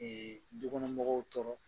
Ee du kɔnɔmɔgɔw tɔɔrɔ